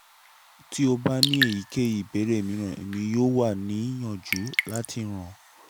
ti o ba ni eyikeyi ibeere miiran emi yoo wa niyanju lati ran